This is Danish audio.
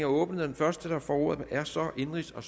åbnet og den første der får ordet er så indenrigs og